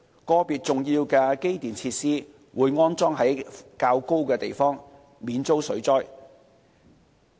個別重要的機電設施會安裝在較高的地方，免遭水浸。